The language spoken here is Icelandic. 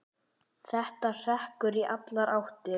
Þetta hrekkur í allar áttir.